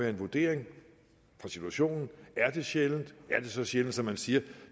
en vurdering af situationen er de sjældne er de så sjældne som man siger